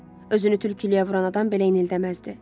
Özünü tülkülüyə vuran adam belə inildəməzdi.